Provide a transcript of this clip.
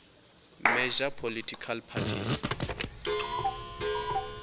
major political parties